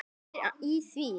Hvað er í því?